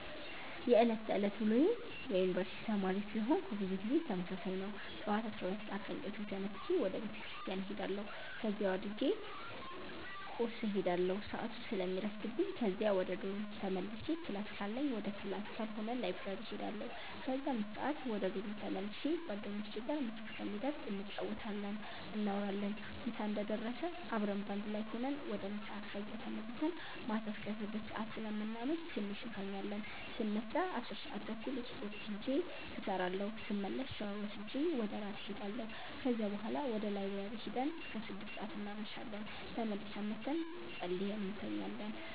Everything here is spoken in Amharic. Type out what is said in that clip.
የዕለት ተዕለት ውሎዬ የዩነኒቨርስቲ ተማሪ ስለሆነኩ ብዙ ጊዜ ተመሳሳይ ነው። ጠዋት 12:00 ሰአት ከእንቅልፌ ተነስቼ ወደ ቤተክርስቲያን እሄዳለሁ በዚያው አድርጌ ቁርስ እሄዳለሁ ሰአቱ ስለሚረፍድብኝ ከዚያ ወደ ዶርም ተመልሼ ክላስ ካለኝ ወደ ክላስ ካልሆነ ላይብረሪ እሄዳለሁ ከዚያ 5:00 ወደ ዶርም ተመልሼ ጓደኞቼ ጋር ምሳ እስከሚደርስ እንጫወታለን፣ እናወራለን ምሳ እንደደረሰ አብረን በአንድ ላይ ሁነን ወደ ምሳ ከዚያም ተመልሰን ማታ አስከ 6:00 ሰአት ስለምናመሽ ትንሽ እንተኛለን ስነሳ 10:30 ስፖርት ቤት ሂጄ እሰራለሁ ስመለስ ሻወር ወስጄ ወደ እራት እሄዳለሁ ከዚያ ቡሀላ ወደ ላይብረሪ ሂደን እስከ 6:00 እናመሻለን ተመልሰን መተን ፀልየን እንተኛለን።